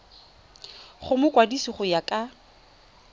go mokwadise go ya ka